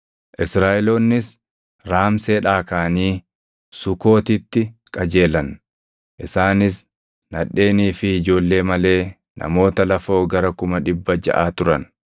Israaʼeloonnis Raamseedhaa kaʼanii Sukootitti qajeelan. Isaanis nadheenii fi ijoollee malee namoota lafoo gara kuma dhibba jaʼa turan.